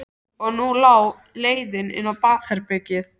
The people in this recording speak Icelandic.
Og nú lá leiðin inn á baðherbergið!